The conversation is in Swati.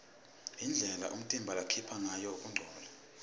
indlela umtimba lokhipha ngayo kungcola